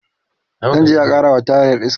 zanje a karawa tayar iska